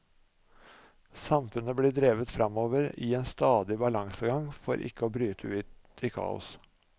Samfunnet blir drevet framover i en stadig balansegang for ikke å bryte ut i kaos.